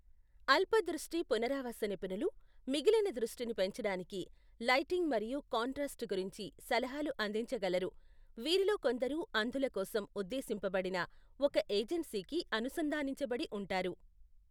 అల్ప దృష్టి పునరావాస నిపుణులు మిగిలిన దృష్టిని పెంచడానికి లైటింగ్ మరియు కాంట్రాస్ట్ గురించి సలహాలు అందించగలరు, వీరిలో కొందరు అంధుల కోసం ఉద్దేశింపబడిన ఒక ఏజెన్సీకి అనుసంధానించబడి ఉంటారు.